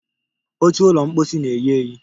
Oche ụlọ mposi na-eyi eyi